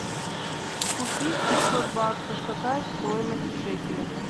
купить пятьсот баксов какая стоимость в шекелях